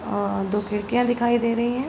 आ दो खिड़कियां दिखाई दे रही हैं।